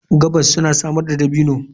Gabas suna samar da dabino.